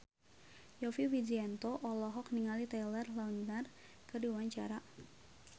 Yovie Widianto olohok ningali Taylor Lautner keur diwawancara